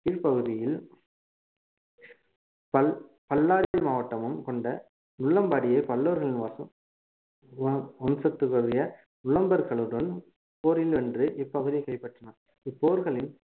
கீழ் பகுதியில் பல்~ பல்லாரி மாவட்டமும் கொண்ட நுளம்பாடியை பல்லவர்கள் வாசம் வம்~ வம்சத்துக்குரிய நுளம்பரகளுடன் போரில் வென்று இப்பகுதியை கைப்பற்றினான் இப்போர்களில்